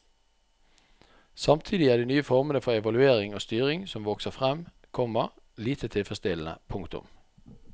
Samtidig er de nye formene for evaluering og styring som vokser frem, komma lite tilfredsstillende. punktum